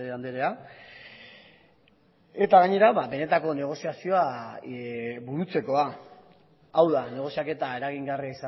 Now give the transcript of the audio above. anderea gainera benetako negoziazioa burutzekoa hau da negoziaketa eragingarria